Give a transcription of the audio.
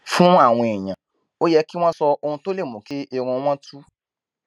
fún àwọn èèyàn ó yẹ kí wón sọ ohun tó lè mú kí irun wọn tú